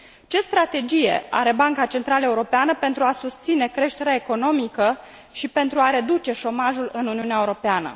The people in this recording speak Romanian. Ce strategie are Banca Centrală Europeană pentru a susține creșterea economică și pentru a reduce șomajul în Uniunea Europeană?